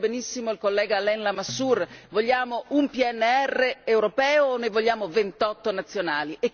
Come ha detto benissimo il collega Alain Lamassoure, vogliamo un PMR europeo o ne vogliamo 28 nazionali?